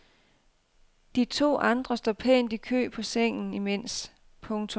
De to andre står pænt i kø på sengen imens. punktum